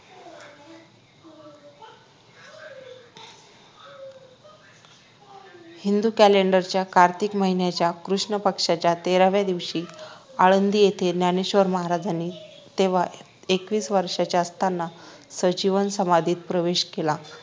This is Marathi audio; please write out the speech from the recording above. हिंदू Calendor कार्तिक माहिन्याच्या कृष्ण पक्षाच्या तेराव्या दिवशी आळंदी येथे ज्ञानेश्वर महाराजांनी तेव्हा एकवीस वर्षांचे असताना संजीवन समाधीत प्रवेश केला